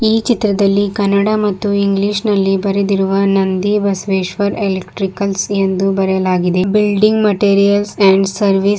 ಈ ಚಿತ್ರದಲ್ಲಿ ಕನ್ನಡ ಮತ್ತು ಇಂಗ್ಲಿಷ್ ನಲ್ಲಿ ಬರೆದಿರುವ ನಂದಿ ಬಸವೇಶ್ವರ ಎಲೆಕ್ಟ್ರಿಕಲ್ಸ್ ಎಂದು ಬರೆಯಲಾಗಿದೆ ಬಿಲ್ಡಿಂಗ್ ಮೆಟೀರಿಯಲ್ಸ್ ಅಂಡ್ ಸರ್ವಿಸ್ --